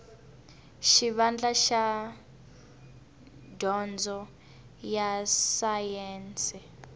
xivandla xa dyondzo ya sayense